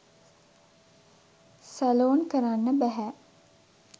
Salon කරන්න බැහැ.